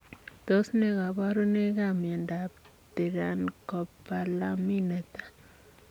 Tos nee kabarunoik ap miondop Tirancopalamin netai?